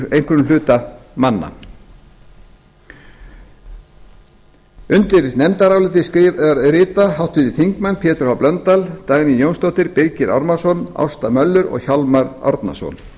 einhverjum hluta manna undir nefndarálitið rita háttvirtir þingmenn pétur h blöndal dagný jónsdóttir birgir ármannsson ásta möller og hjálmar árnason